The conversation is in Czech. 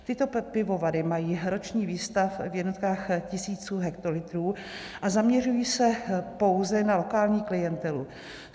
Tyto pivovary mají roční výstav v jednotkách tisíců hektolitrů a zaměřují se pouze na lokální klientelu.